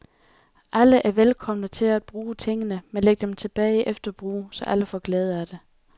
Alle er velkomne til at bruge tingene, men læg dem tilbage efter brug, så alle får glæde af det.